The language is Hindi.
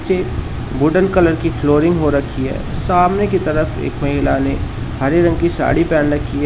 पे वुडन कलर की फ्लोरिंग हो रखी है सामने की तरफ एक महिला ने हरे रंग की साड़ी पहेन रखी है।